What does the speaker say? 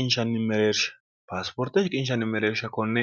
ioreeeershpaasiporte shiqinshanni mereersha konne